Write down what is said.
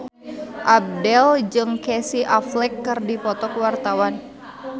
Abdel jeung Casey Affleck keur dipoto ku wartawan